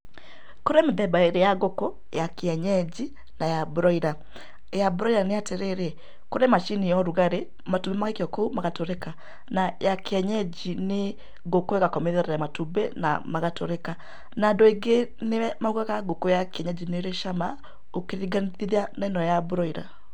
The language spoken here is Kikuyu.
Kũrĩ mĩthemba ĩrĩ ya ngũkũ, ya kienyenji na ya mburoira. Ya mburoira nĩ atĩrĩrĩ, kũrĩ macini ya ũrugarĩ, matumbĩ magaikio kũu magatũrĩka na ya kienyenji nĩ ngũkũ ĩgakomerera matumbĩ na magatũrĩka. Na andũ aingĩ nĩ maugaga ngũkũ ya kienyenji nĩ ĩrĩ cama ũkĩringanithia na ĩno ya mburoira.